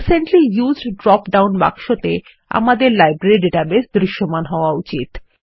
recently used drop down বাক্স ত়ে আমাদের লাইব্রেরী ডেটাবেস দৃশ্যমান হওয়া উচিত